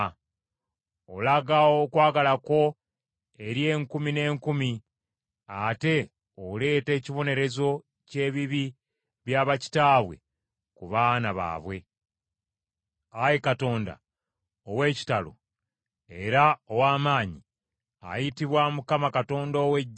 Olaga okwagala kwo eri enkumi n’enkumi ate oleeta ekibonerezo ky’ebibi bya bakitaabwe ku baana baabwe. Ayi Katonda ow’ekitalo era ow’amaanyi, ayitibwa Mukama Katonda ow’Eggye,